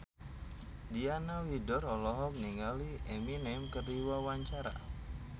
Diana Widoera olohok ningali Eminem keur diwawancara